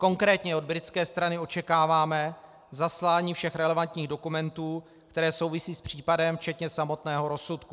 Konkrétně od britské strany očekáváme zaslání všech relevantních dokumentů, které souvisejí s případem, včetně samotného rozsudku.